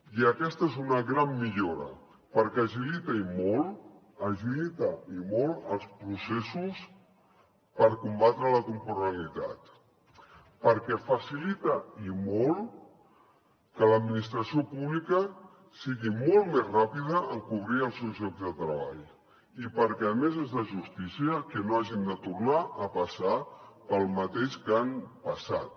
i aquesta és una gran millora perquè agilita i molt els processos per combatre la temporalitat perquè facilita i molt que l’administració pública sigui molt més ràpida en cobrir els seus llocs de treball i perquè a més és de justícia que no hagin de tornar a passar pel mateix que han passat